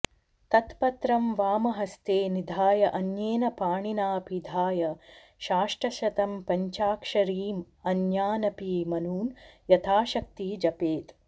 तत्पत्रं वामहस्ते निधाय अन्येन पाणिना पिधाय साष्टशतं पञ्चाक्षरीं अन्यानपि मनून् यथाशक्ति जपेत्